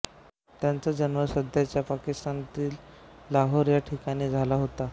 त्यांचा जन्म सध्याच्या पाकिस्तानातील लाहोर या ठिकाणी झाला होता